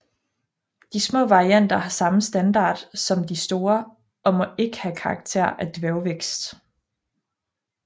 De små varianter har samme standard som de store og må ikke have karakter af dværgvækst